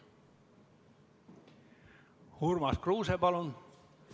Urmas Kruuse, palun!